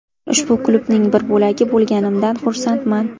Ushbu klubning bir bo‘lagi bo‘lganimdan xursandman.